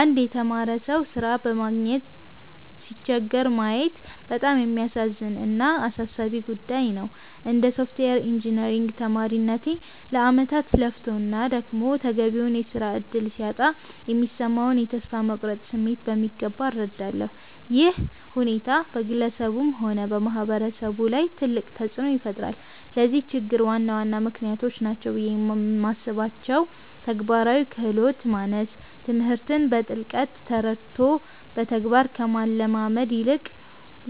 አንድ የተማረ ሰው ሥራ በማግኘት ሲቸገር ማየት በጣም የሚያሳዝን እና አሳሳቢ ጉዳይ ነው። እንደ ሶፍትዌር ኢንጂነሪንግ ተማሪነቴ፣ ለዓመታት ለፍቶና ደክሞ ተገቢውን የሥራ ዕድል ሲያጣ የሚሰማውን የተስፋ መቁረጥ ስሜት በሚገባ እረዳለሁ። ይህ ሁኔታ በግለሰቡም ሆነ በማህበረሰቡ ላይ ትልቅ ተጽዕኖ ይፈጥራል። ለዚህ ችግር ዋና ዋና ምክንያቶች ናቸው ብዬ የማስባቸው፦ ተግባራዊ ክህሎት ማነስ፦ ትምህርትን በጥልቀት ተረድቶ በተግባር ከመለማመድ ይልቅ፣